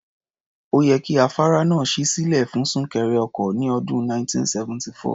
Ó yẹ kí afárá náà ṣí sílẹ̀ fún súnkẹrẹ ọkọ̀ ní ọdún 1974.